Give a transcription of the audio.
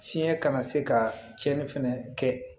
Fiɲɛ kana se ka tiɲɛni fɛnɛ kɛ